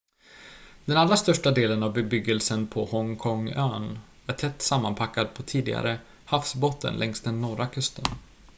den allra största delen av bebyggelsen på hongkong-ön är tätt sammanpackad på tidigare havsbotten längs den norra kusten